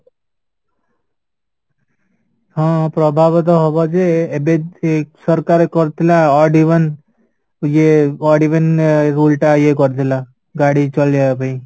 ହଁ ପ୍ରଭାବତ ହବଯେ ଏବେ ସରକାର କରିଥିଲା Divan ଇଏ Divan rule ଟା ଇଏ କରିଥିଲା ଗାଡିଚାଲିବା ପାଇଁ